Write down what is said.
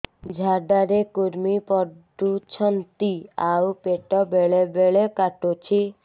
ଝାଡା ରେ କୁର୍ମି ପଡୁଛନ୍ତି ଆଉ ପେଟ ବେଳେ ବେଳେ କାଟୁଛି